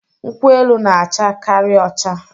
nkwu-elu n'acha Kari ocha